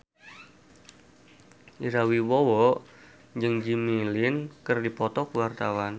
Ira Wibowo jeung Jimmy Lin keur dipoto ku wartawan